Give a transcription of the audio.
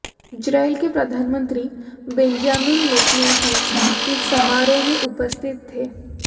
Israel के प्रधानमंत्री Benjamin Netanyahu इस समारोह में उपस्थित थे